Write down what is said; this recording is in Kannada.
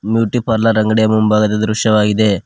ಬ್ಯೂಟಿ ಪಾರ್ಲರ್ ಅಂಗಡಿಯ ಮುಂಭಾಗದ ದೃಶ್ಯವಾಗಿದೆ.